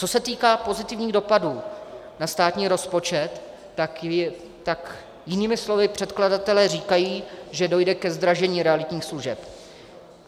Co se týká pozitivních dopadů na státní rozpočet, tak jinými slovy předkladatelé říkají, že dojde ke zdražení realitních služeb.